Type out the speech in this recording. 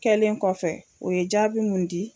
Kɛlen kɔfɛ o ye jaabi mun di.